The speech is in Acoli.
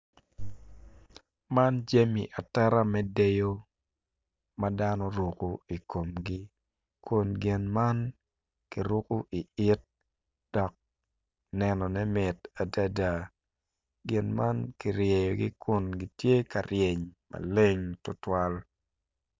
Man jemi ateta me dyeyo ma dano rukko i komgi kun gin man ki rukku i it dok nenone mit adada gin man kiryegi kun gitye ka ryeny maleng tutwal